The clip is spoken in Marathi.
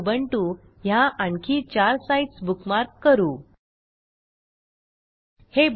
याच पध्दतीने स्पोकन ट्युटोरियल yahooफायरफॉक्स add ओएनएस आणि उबुंटू ह्या आणखी चार साईटस् बुकमार्क करू